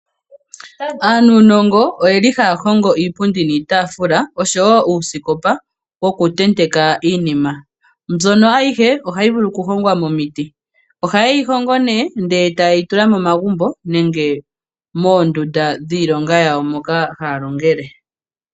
Aanunongo oyeli haya hongo iipundi niitafula, oshowo uusikopa woku tenteka iinima. Mbyono ayihe ohayi vulu oku hongwa momiiti. Ohayi hongo nee ndele tayi tula momagumbo nenge moondundu dhiilonga yayo moka haya longele.